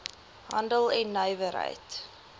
handel en nywerheid